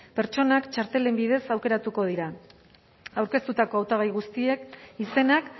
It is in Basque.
pertsonak txartelen bidez aukeratuko dira aurkeztutako hautagai guztien izenak